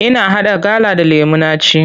Ina haɗa gala da lemu na ci.